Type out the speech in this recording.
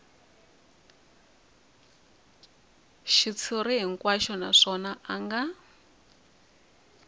xitshuriwa hinkwaxo naswona a nga